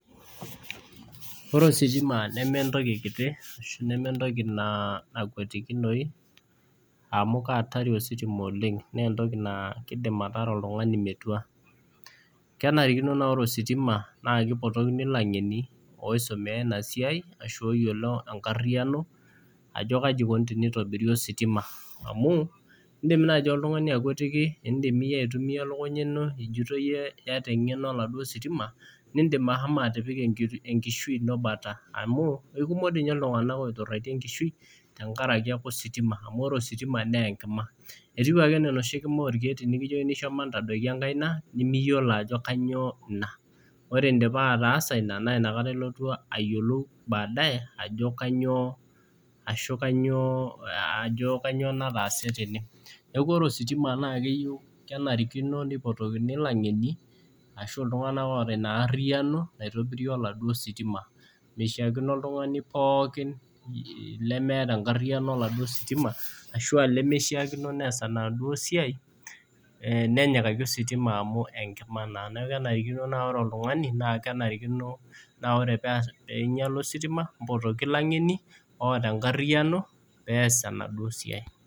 Ore ositima neme entoki kiti neme entoki nakwetikinoyu amu kaatari ositima oleng keidim ataara oltungani metua ,kenare naa ore ositima kipotokini langeni oisumiya ina siai ashu iyiolo enkariano ajo kaji eikoni tenitobiri ositima ,amu indim naaji oltungani aitumiyia engeno elukunya ino ijito iyiolo oladuo sitima nindim ashomo atipika enkishui ino bata amu, ikumok doi ninye iltunganak oituraitie enkishui tenkaraki ositima amu ore ositima naa enkima ,etiu ake enaa enoshi kima orkeek tinikijokini shomo ntadoiki enkima nimiyiolo ajo kainyoo ina ,ore indipa ataasa ina naa inakata ilotu ayiolou baadae ajo kainyoo nataase tene neeku ore ositima naa keyieu neipotokini langeni ashu iltunganak oota ina ariyiano mitobira oladuo sitima. mishaakino oltungani pookin lemishaakino nees enaduo siai nenyikaki ositima amu enkima naa ,neeku kenarikino na ore oltungani pee einyala ositima ,nipoti langeni oota enkariano pee ees enaduo siai .